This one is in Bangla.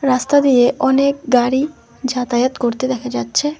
রাস্তা দিয়ে অনেক গাড়ি যাতায়াত করতে দেখা যাচ্ছে।